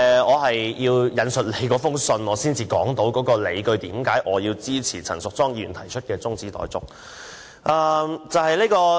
我要引述主席的覆函，才能說出我支持陳淑莊議員提出的中止待續議案的理據。